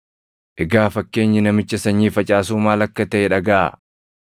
“Egaa fakkeenyi namicha sanyii facaasuu maal akka taʼe dhagaʼaa: